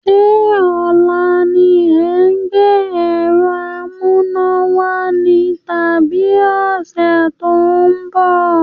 Sé ọ̀la ni ẹ̀ ń gbé ẹ̀rọ amúnáwá ni tàbí ọ̀sẹ̀ tó ń bọ̀?